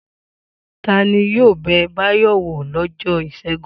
Ta ni yóò bẹ Báyọ̀ wò lọ́jọ́ ìṣẹ́gun?